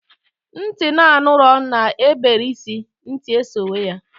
Nti na-anụrọ na-ebere isi, nti esowe ya.